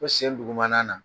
Fɔ sen dugumana na.